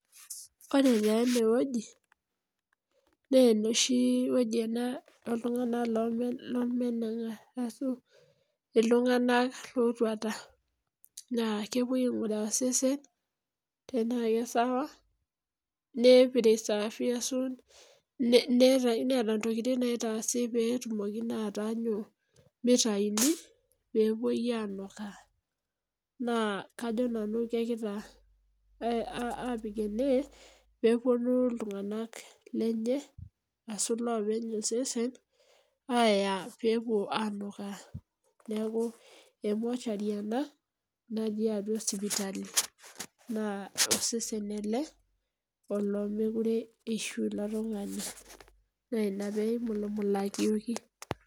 Ore taa eneweji naa enoshi weji ene oltunganak lemenenga ashu iltunganak ootuata. Naa kepuoi ainguraki osesen tenaa keisawa ,neeta ntokiting naaapiki pee etumoki naa ataanyu mitayuni pee epuoi anuuka .Naa kajo nanu kepikita ene pee eponu iltunganak lenye ashu loopeny osesen, aya pee epuo anuuka .Neeku emochari ena natii atua sipitali ,naa osesen ele olemookure eishu ilo tungani. Naa ina pee eimulumulayioki.